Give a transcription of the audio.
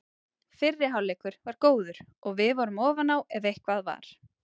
Fyrri hálfleikur var góður og við vorum ofan á ef eitthvað var.